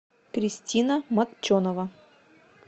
кристина матченова